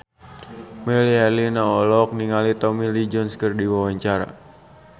Melly Herlina olohok ningali Tommy Lee Jones keur diwawancara